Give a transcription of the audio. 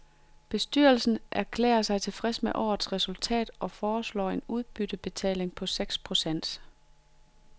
Bestyrelsen erklærer sig tilfreds med årets resultat og foreslår en udbyttebetaling på seks procent.